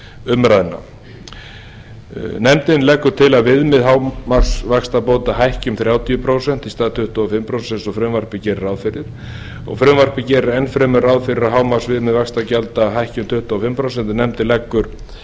umræðna nefndin leggur til að viðmið hámarksvaxtabóta hækki um þrjátíu prósent í stað tuttugu og fimm prósent eins og frumvarpið gerir ráð fyrir frumvarpið gerir enn fremur ráð fyrir að hámarksviðmið vaxtagjalda hækki um tuttugu og fimm prósent en nefndin leggur